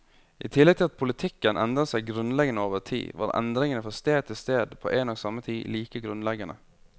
I tillegg til at politikken endret seg grunnleggende over tid, var endringene fra sted til sted på en og samme tid like grunnleggende.